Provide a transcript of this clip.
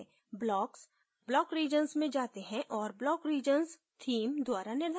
blocks block regions में जाते हैं और block regions theme द्वारा निर्धारित हैं